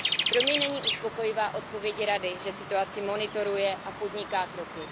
Pro mě není uspokojivá odpověď Rady, že situaci monitoruje a podniká kroky.